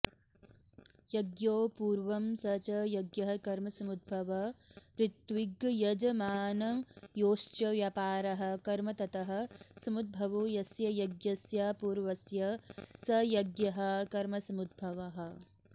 यज्ञोऽपूर्वं स च यज्ञः कर्मसमुद्भव ऋत्विग्यजमानयोश्च व्यापारः कर्म ततः समुद्भवो यस्य यज्ञस्यापूर्वस्य स यज्ञः कर्मसमुद्भवः